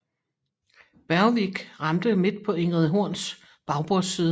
Bergvik ramte midt på Ingrid Horns bagbordsside